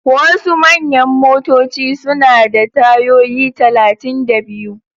Wasu manyan motoci suna da tayoyi talatin da biyu.